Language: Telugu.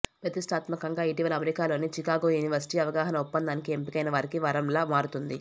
ప్రతిష్ఠాత్మకంగా ఇటీవల అమెరికాలోని చికాగో యూనివర్సిటీ అవగాహన ఒప్పందానికి ఎంపికైన వారికి వరంలా మారుతుంది